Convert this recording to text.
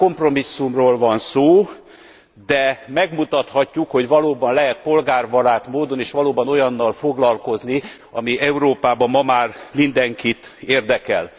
Nyilván kompromisszumról van szó, de megmutathatjuk, hogy valóban lehet polgárbarát módon, és valóban olyannal foglalkozni, ami Európában ma már mindenkit érdekel.